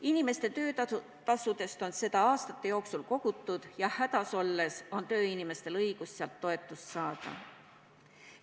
Inimeste töötasudest on seda aastate jooksul kogutud ja hädas olles on tööinimestel õigus sealt toetust saada.